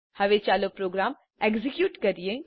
હવે ચાલો program execute કરીએ